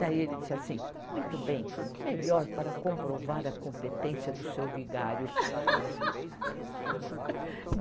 Daí ele disse assim, muito bem, melhor para comprovar a competência do seu vigário.